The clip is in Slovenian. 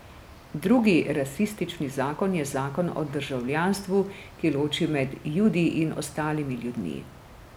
Drug rasistični zakon je Zakon o državljanstvu, ki loči med Judi in ostalimi ljudmi.